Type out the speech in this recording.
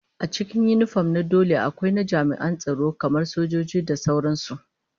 Daga cikin yinifom na dole akwai na jami'an tsaro kamar sojoji da sauran su